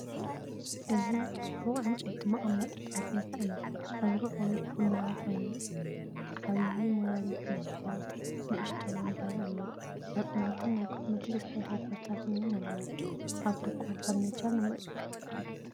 እዚ ጽቡቕ ዕንጨይቲ መቐመጢ ጠረጴዛ እዩ። ሕብሩ ቀይሕ ቡናዊ እዩ። ዓቢይ ሞላሊት መስትያትን ንእሽቶ መንበርን ኣለዎ። ሳጹናትን ናይ ኮስሞቲክስ መደርደሪታትን እውን ኣለዎ። ኣብ ድኳን ፈርኒቸር ንምርኢት ቀሪቡ ኣሎ።